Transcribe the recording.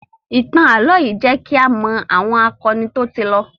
Ìtàn ààlọ́ yìí jẹ kí a mọ àwọn akọni tó ti lọ